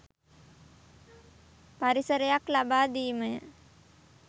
පරිසරයක් ලබාදීමය.